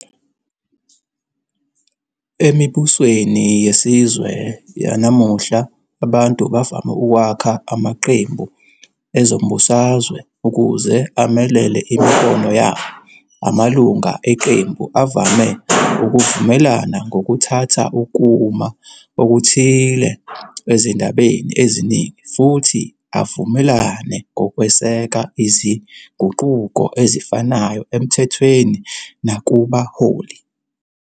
Emibusweni yesizwe yanamuhla, abantu bavame ukwakha amaqembu ezombusazwe ukuze amelele imibono yabo. Amalunga eqembu avame ukuvumelana ngokuthatha ukuma okuthile ezindabeni eziningi futhi avumelane ngokweseka izinguquko ezifanayo emthethweni nakubaholi.